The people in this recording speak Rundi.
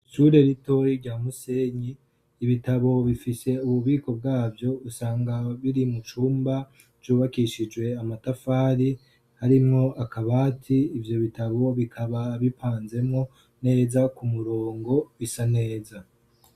Ishure ritoyi rya Musenyi, ibitabu bifise ububiko bwavyo usanga biri mu cumba cubakishijwe amatafari harimwo akabati, ivyo bitabu bikaba bipanzemwo neza ku murongo bisa neza.